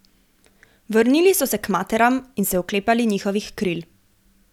Vrnili so se k materam in se oklepali njihovih kril.